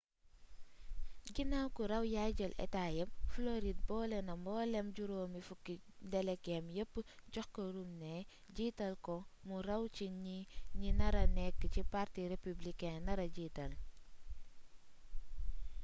ginaaw ku raw yaay jël état yépp floride boolena mbooleem juróom-fukki delegeem yépp jox ko romney jiital ko mu raw ci ñi nara nekk ki parti républicain nara jiital